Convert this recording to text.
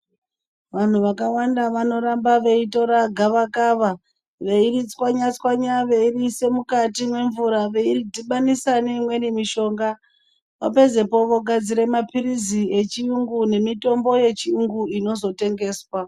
Vanhu vakawanda vanoramba veitora gavakava veiritswanya-tswanya veiriise mukati mwemvura veiridhibanisa neimweni mishonga opedzepo ogadzira mapirizi echiyungu nemitombo yechiyungu inozotengeswa.